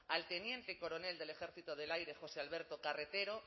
al teniente coronel del ejército del aire josé alberto carretero